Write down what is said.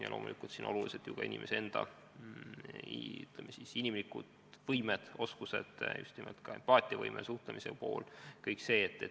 Ja loomulikult on olulised abistajate isikuomadused, just nimelt empaatiavõime, oskus suhelda jne.